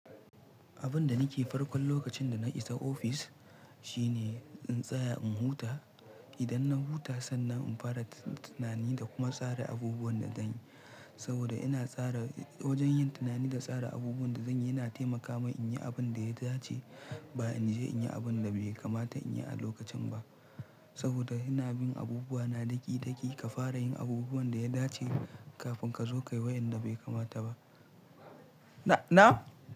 Abin da nake farkon lokacin da na isa ofis shine in tsaya in huta. Idan na huta sannan in fara tunani da kuma tsara abubuwan da zanyi. Saboda ina tsara wajen yin tunani da tsara abubuwan da zanyi yana taimaka min in yi abin da ya dace ba in je in yi abin da bai kamata in yi a lokacin ba. Saboda ina bin abubuwa na daki-daki ka fara yin abubuwan da ya dace kafin ka zo ka yi wayanda bai kamata ba. Na, na?